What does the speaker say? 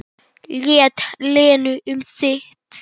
Lét Lenu um sitt.